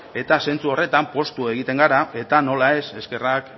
eta zentzu horretan poztu egiten gara eta nola ez eskerrak